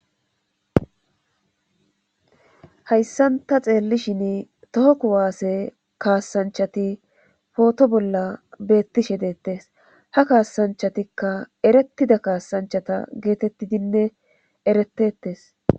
hayssanta xeellishin tooku waase kaasanchati pooto bolla beettishe deettes ha kaasanchatikka eretida kaasanchata geetettidinne eretetes